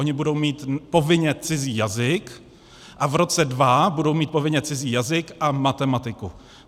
Oni budou mít povinně cizí jazyk a v roce 2022 budou mít povinně cizí jazyk a matematiku.